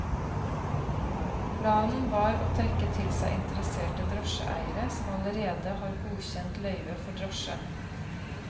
Planen var å trekke til seg interesserte drosjeeiere som allerede har godkjent løyve for drosje.